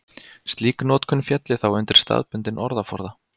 Slík notkun félli þá undir staðbundinn orðaforða.